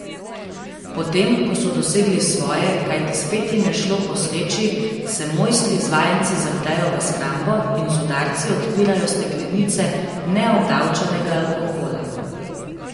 Potem ko so dosegli svoje, kajti spet jim je šlo po sreči, se mojstri z vajenci zaprejo v shrambo in z udarci odpirajo steklenice neobdavčenega alkohola.